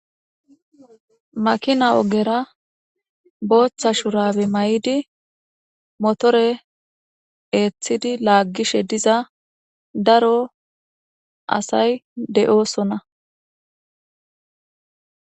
Makina ogera botha shurabe mayidi motore etidi lagishe diza daro asati de'osona.